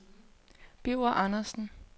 Birger Andersen